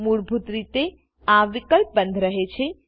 મૂળભૂત રીતે આ વિકલ્પ બંદ રહે છે